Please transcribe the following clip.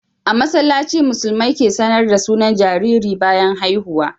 A masallaci musulmai ke sAnar da sunan jariri bayan haihuwa